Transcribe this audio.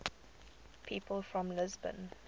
people from lisbon